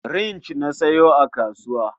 Rig na sayo a kasuwa.